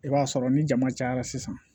I b'a sɔrɔ ni jama cayara sisan